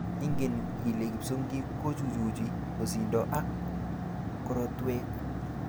Ingen ile kipsongik kochuchuchi osindo ak korotwek?